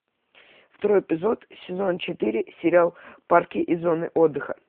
второй эпизод сезон четыре сериал парки и зоны отдыха